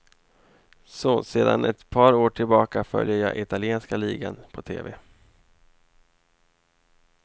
Så, sedan ett par år tillbaka följer jag italienska ligan på tv.